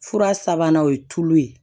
Fura sabanan o ye tulu ye